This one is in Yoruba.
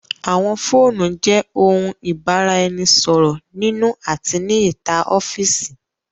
Àwọn fóònù jẹ òun ibaraẹnisọrọ nínú àti ní ìta ọfiisi.